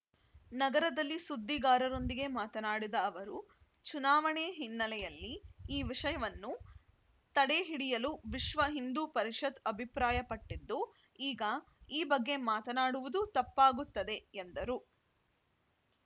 ನಗರದಲ್ಲಿ ಸುದ್ದಿಗಾರರೊಂದಿಗೆ ಮಾತನಾಡಿದ ಅವರು ಚುನಾವಣೆ ಹಿನ್ನೆಲೆಯಲ್ಲಿ ಈ ವಿಷಯವನ್ನು ತಡೆ ಹಿಡಿಯಲು ವಿಶ್ವ ಹಿಂದೂ ಪರಿಷತ್‌ ಅಭಿಪ್ರಾಯಪಟ್ಟಿದ್ದು ಈಗ ಈ ಬಗ್ಗೆ ಮಾತನಾಡುವುದು ತಪ್ಪಾಗುತ್ತದೆ ಎಂದರು